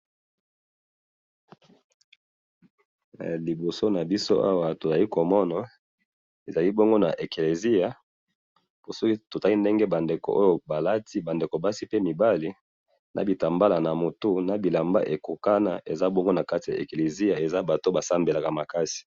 he liboso nabiso awa tozali komona ezali bongo na kati ya ekeliziya po soki totali ndenge ba ndeko oyo balati balati ba ndeko basi pe mibali balati biloko ekokana na kati ya ekiliziya ezo monana baza batu basambelaka makasi